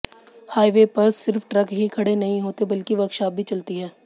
highway पर सिर्फ truck ही खड़े नहीं होते बल्कि वर्कशाप भी चलती है